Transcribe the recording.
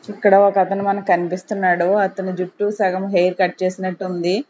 ఇక్కడ ఒక అతను మనకి కనిపిస్తున్నాడు అతని జుట్టు సగం హెయిర్ కట్ చేసినట్టు ఉంది.